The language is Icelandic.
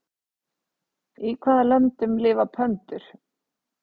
Í hvaða löndum lifa pöndur?